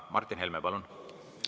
Martin Helme, palun!